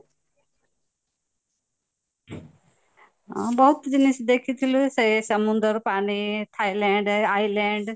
ହଁ ବହୁତ ଜିନିଷ ଦେଖିଥିଲୁ ସେ ସମୁଦ୍ର ପାଣି thailand iland